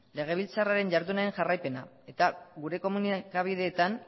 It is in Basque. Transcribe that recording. legebiltzarraren jardunaren jarraipena eta gure komunikabideetan